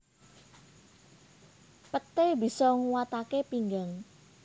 Peté bisa nguwataké pinggang